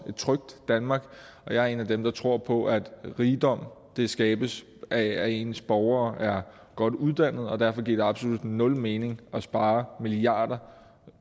trygt danmark og jeg er en af dem der tror på at rigdom skabes af at ens borgere er godt uddannet og derfor giver det absolut nul mening at spare milliarder